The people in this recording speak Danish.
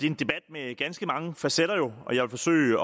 en debat med ganske mange facetter og jeg vil forsøge